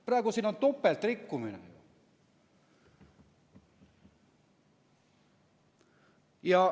Praegu siin on topeltrikkumine.